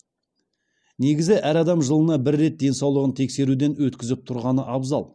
негізі әр адам жылына бір рет денсаулығын тексеруден өткізіп тұрғаны абзал